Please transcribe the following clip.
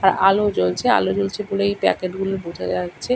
আর আলো জ্বলছে। আলো জ্বলছে বলেই প্যাকেট গুলো বোঝা যাচ্ছে।